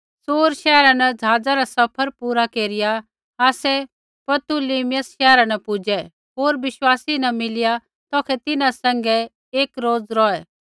सूर शैहरा न ज़हाज़ा रा सफर पूरा केरिया आसै पतुलिमियस शैहरा न पुजै होर विश्वासी न मिलिया तौखै तिन्हां सैंघै एक रोज़ रौहै